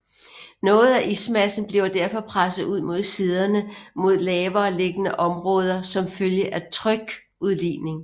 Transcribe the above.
Noget af ismassen bliver derfor presset ud mod siderne mod lavere liggende områder som følge af trykudligning